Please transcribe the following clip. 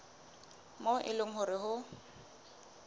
moo e leng hore ho